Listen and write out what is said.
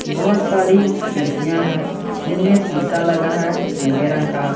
बहोत सारी खिड़कियां है जिनमें सीसा लगा है नीले रंग का।